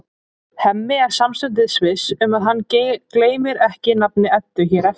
Hemmi er samstundis viss um að hann gleymir ekki nafni Eddu hér eftir.